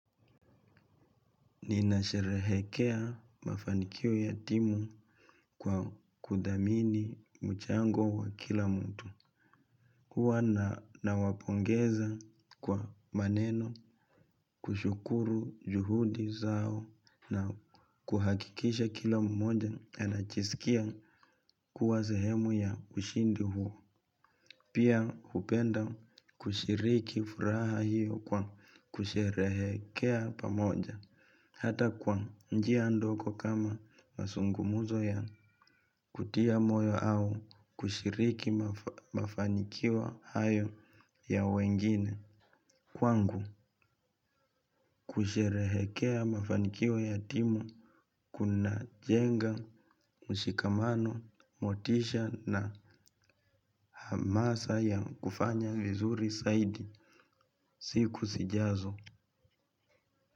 Ninasherehekea mafanikio ya timu kwa kudhamini mchango wa kila mtu. Huwa nawapongeza kwa maneno. Kushukuru juhudi zao na kuhakikisha kila mmoja anajiskia kuwa sehemu ya ushindi huo. Pia hupenda kushiriki furaha hiyo kwa kusherehekea pamoja. Hata kwa njia ndogo kama mazungumzo ya kutia moyo au kushiriki mafanikio hayo ya wengine. Kwangu kusherehekea mafanikio ya timu kunajenga, mshikamano, motisha na hamasa ya kufanya vizuri zaidi. Siku sijazo.